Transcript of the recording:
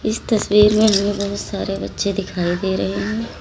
इस तस्वीर में हमें बहोत सारे बच्चे दिखाई दे रहे हैं।